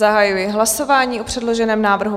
Zahajuji hlasování o předloženém návrhu.